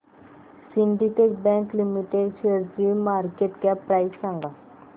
Syndicate Bank Limited शेअरची market cap price सांगा